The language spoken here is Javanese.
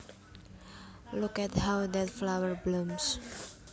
Look at how that flower blooms